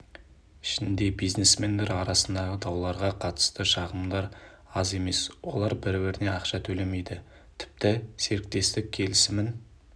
ішінде бизнесмендер арасындағы дауларға қатысты шағымдар аз емес олар бір-біріне ақша төлемейді тіпті серіктестік келісімін